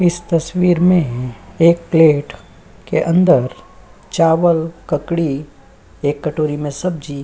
इस तस्वीर में एक प्लेट के अंदर चावल ककड़ी एक कटोरी में सब्जी --